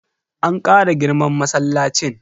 An Kara girman masallacin.